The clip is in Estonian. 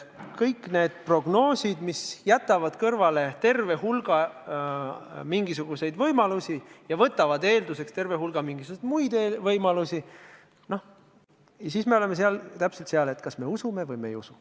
Kõik need prognoosid, mis jätavad kõrvale terve hulga mingisuguseid võimalusi ja võtavad eelduseks terve hulga mingisuguseid muid võimalusi – noh, nende puhul me oleme täpselt sellises olukorras, et kas me usume neid või ei usu.